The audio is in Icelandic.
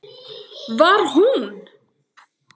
Var hún?!